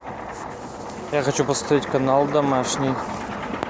я хочу посмотреть канал домашний